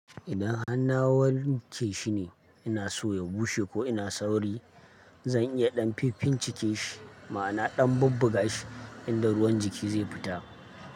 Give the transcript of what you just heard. Idan har na wanke shi ne, ina so ya bushe ko ina sauri, zan iya ɗan finfincike shi, ma'ana ɗan bubbaga shi, in da ruwan jiki zai fita.